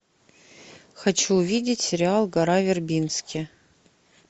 хочу увидеть сериал гора вербински